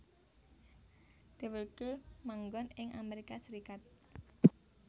Dheweke manggon ing Amerika Serikat